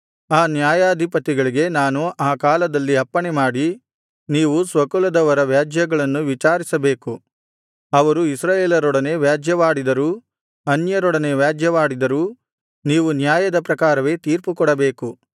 ಆ ನ್ಯಾಯಾಧಿಪತಿಗಳಿಗೆ ನಾನು ಆ ಕಾಲದಲ್ಲಿ ಅಪ್ಪಣೆಮಾಡಿ ನೀವು ಸ್ವಕುಲದವರ ವ್ಯಾಜ್ಯಗಳನ್ನು ವಿಚಾರಿಸಬೇಕು ಅವರು ಇಸ್ರಾಯೇಲರೊಡನೆ ವ್ಯಾಜ್ಯವಾಡಿದರೂ ಅನ್ಯರೊಡನೆ ವ್ಯಾಜ್ಯವಾಡಿದರೂ ನೀವು ನ್ಯಾಯದ ಪ್ರಕಾರವೇ ತೀರ್ಪುಮಾಡಬೇಕು